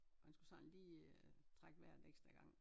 Man skulle sådan lige øh trække vejret en ekstra gang